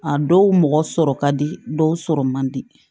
A dɔw mɔgɔ sɔrɔ ka di dɔw sɔrɔ mandi